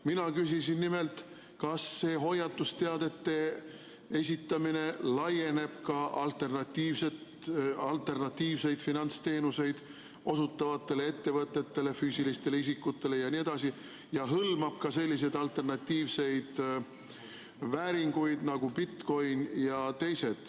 Mina küsisin nimelt seda, kas hoiatusteadete esitamine laieneb ka alternatiivseid finantsteenuseid osutavatele ettevõtetele, füüsilistele isikutele jne ja hõlmab ka selliseid alternatiivseid vääringuid nagu bitcoin.